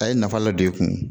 A ye nafa dɔ de e kun